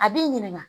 A b'i ɲininka